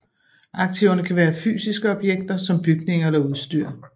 Aktiverne kan være fysiske objekter som bygninger eller udstyr